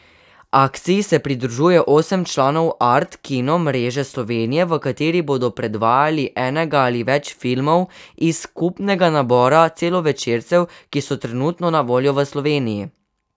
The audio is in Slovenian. Akciji se pridružuje osem članov Art kino mreže Slovenije, v katerih bodo predvajali enega ali več filmov iz skupnega nabora celovečercev, ki so trenutno na voljo v Sloveniji.